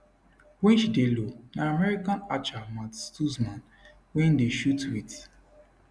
wen she dey low na american archer matt stutzman wey dey shoot wit